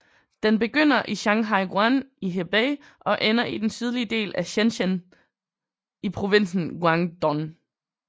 Den begynder i Shanhaiguan i Hebei og ender i den sydlige del af Shenzhen i provinsen Guangdong